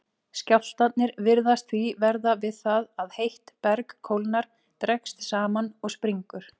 Skjálftarnir virðast því verða við það að heitt berg kólnar, dregst saman og springur.